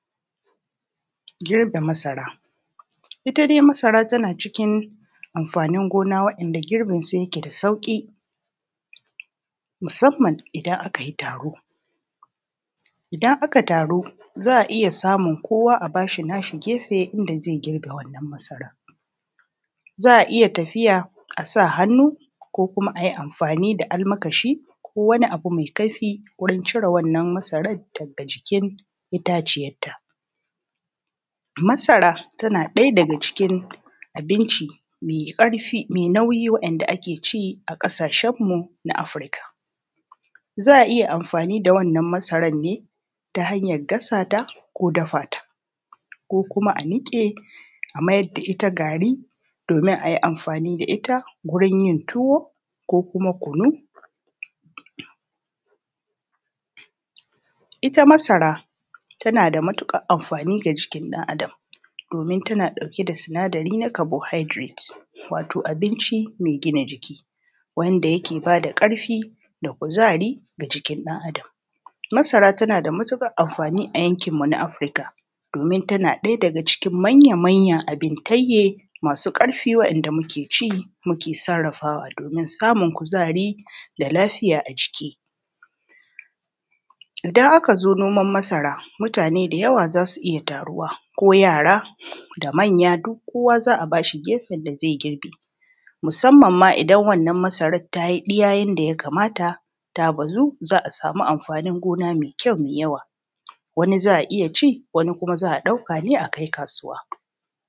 Girbe masara ita dai masara tana cikin amfanin gona wa`yanda girbin su yake da sauƙi musamman idan aka yi taro. Idan aka taru za`a iya samin kowa a bashi na shi gefe inda zai girbe wannan masaran za`a iya tafiya a sa hannu ko kuma ayi amfani da almakashi ko wani abu mai kaifi wurin cire wannan masaran daga cikin itaciyanta Masara tana ɗaya daga cikin abinci mai ƙarfi mai nauyi wa`yanda ake ci a ƙasashen mu na Africa, za`a iya amfani da wannan masaran ne ta hanyar gasata ko dafata ko kuma a niƙe a mayar da ita gari domin a yi amfani da ita gurin yin tuwo ko kuma kunu. Ita masara talna da matuƙar amfani ga jikin ɗan Adam domin yana ɗauke da sinadari na “carbohydrate” watan abinci mai gina jiki wanda yake bada ƙarfi da kuzari a jikin ɗan Adam Masara tana da matuƙar amfani a yankin mu na Africa domin tana daga cikin manya manya abintanye masu ƙarfi wa`yanda muke ci muke sarrafawa domin samun kuzari da lafiya a jiki idan aka zo noman masara mutane da yawa za su iya taruwa ko yara da manya duk kowa za`a bashi gefen da zai girbe musamman ma idan wannan masaran ta yi ɗiya yanda ya kamata ta bazu za`a samu amfanin gona mai kyau mai yawa, wani za`a yi ci, wani kuma za`a ɗauka ne a kai kasuwa.